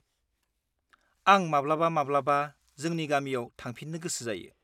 -आं माब्लाबा-माब्लाबा जोंनि गामियाव थांफिननो गोसो जायो।